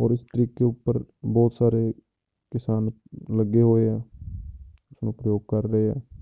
ਔਰ ਇਸ ਤਰੀਕੇ ਉੱਪਰ ਬਹੁਤ ਸਾਰੇ ਕਿਸਾਨ ਲੱਗੇ ਹੋਏ ਆ ਇਸਨੂੰ ਪ੍ਰਯੋਗ ਕਰ ਰਹੇ ਆ